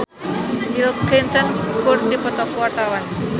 Nicholas Saputra jeung Bill Clinton keur dipoto ku wartawan